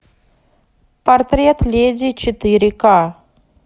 портрет леди четыре ка